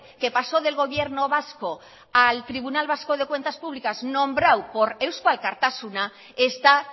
que pasó del gobierno vasco al tribunal vasco de cuentas públicas nombrado por eusko alkartasuna está